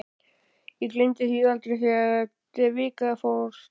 Ég gleymi því aldrei, þegar Devika fórst.